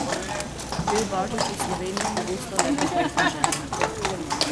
Bel božič v Sloveniji pogosto le pobožne želje.